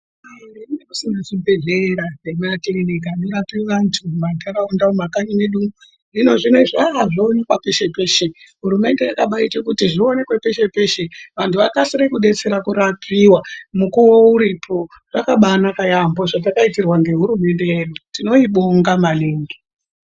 Zvibhedhlera nema kiriniki anorapa antu muma ndaraunda mumakanyi mwedu hino zvinezvi zvowanikwa peshe peshe hurumende yakabaita kuti zviwanikwe peshe peshe vantu vakwanise kudetsera kurapiwa mukuwo uripo zvakabanaka maningi zvatakaitirwa nehurumende yedu tinoibonga maningi.